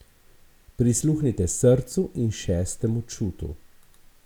Prisluhnite srcu in šestemu čutu.